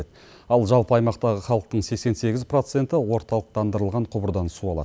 ал жалпы аймақтағы халықтың сексен сегіз проценті орталықтандырылған құбырдан су алады